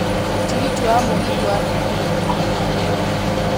tigiti wa mũgithi wa naikuru kuuma haha